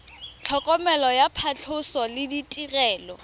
tlhokomelo ya phatlhoso le ditirelo